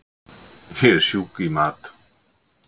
Ég er sjúk í mat!